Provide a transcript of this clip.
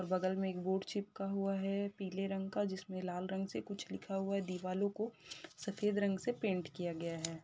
और बगल मे एक बोर्ड चिपका हुआ है पीले रंग का जिसमे लाल रंग से कुछ लिखा हुआ है। दिवालो को सफेद रंग से पेंट किया गया है।